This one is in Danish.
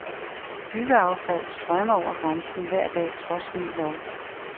Byggeaffald strømmer over grænsen hver dag trods ny lov.